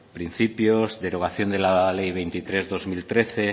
principios derogación de la ley veintitrés barra dos mil trece